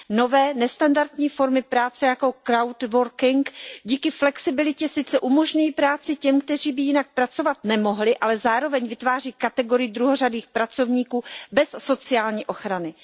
Nové, nestandardní formy práce jako crowdworking díky flexibilitě sice umožňují práci těm, kteří by jinak pracovat nemohli, ale zároveň vytváří kategorii druhořadých pracovníků bez sociální ochrany.